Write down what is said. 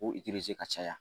Ko ka caya